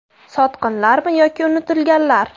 Sotqinlarmi yoki unutilganlar?